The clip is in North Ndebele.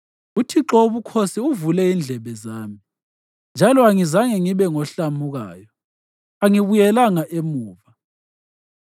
UThixo Wobukhosi uvule indlebe zami, njalo angizange ngibe ngohlamukayo; angibuyelanga emuva.